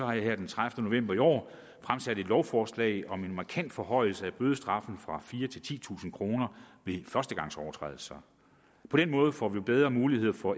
jeg her den tredivete november i år fremsat et lovforslag om en markant forhøjelse af bødestraffen fra fire til titusind kroner ved førstegangsovertrædelser på den måde får vi bedre muligheder for